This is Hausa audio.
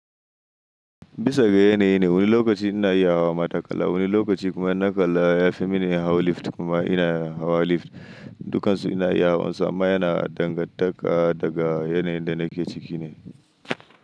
Bisa ga yanayi ne, wani lokaci ina iya hawa matakala, wani lokaci kuma naƙala ya fi mini hawa lift kuma ina hawa lift. Dukansu ina iya hawansu amma yana dangantaka daga yanayin da nake ciki ne.